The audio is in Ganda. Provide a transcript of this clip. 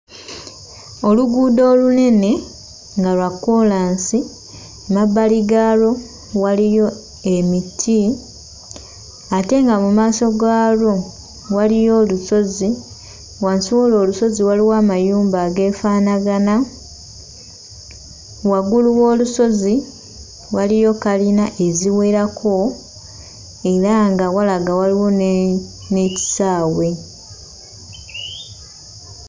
Oluguudo olunene nga lwa kkoolansi, emabbali gaalwo waliyo emiti ate nga mu maaso gaalwo waliyo olusozi. Wansi w'olwo olusozi waliwo amayumba ageefaanagano, waggulu w'olusozi waliyo kkalina eziwerako era nga walaga waliwo ne n'ekisaawe.